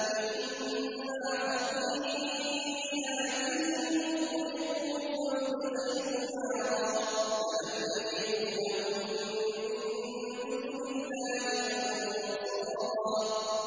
مِّمَّا خَطِيئَاتِهِمْ أُغْرِقُوا فَأُدْخِلُوا نَارًا فَلَمْ يَجِدُوا لَهُم مِّن دُونِ اللَّهِ أَنصَارًا